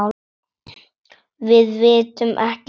Við vitum ekki af því.